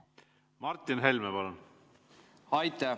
Martin Helme, palun!